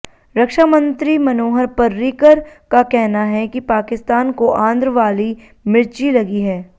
रक्षा मंत्री मनोहर पर्रिकर का कहना है कि पाकिस्तान को आंध्र वाली मिर्ची लगी है